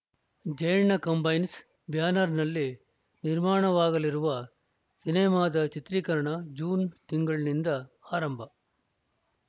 Jayanna combines ಬ್ಯಾನರ್‌ನಲ್ಲಿ ನಿರ್ಮಾಣವಾಗಲಿರುವ ಸಿನಿಮಾದ ಚಿತ್ರೀಕರಣ ಜೂನ್‌ ತಿಂಗಳಿನಿಂದ ಆರಂಭ